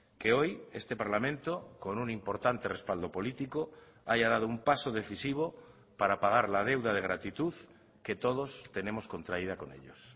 que hoy este parlamento con un importante respaldo político haya dado un paso decisivo para pagar la deuda de gratitud que todos tenemos contraída con ellos